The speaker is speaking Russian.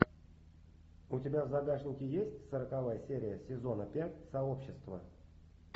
у тебя в загашнике есть сороковая серия сезона пять сообщество